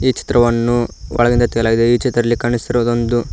ಈ ಚಿತ್ರವನ್ನು ಒಳಗಿನಿಂದ ತೆಗೆಯಲಾಗಿದೆ ಈ ಚಿತ್ರದಲ್ಲಿ ಕಾಣಿಸುತ್ತಿರುವುದು ಒಂದು--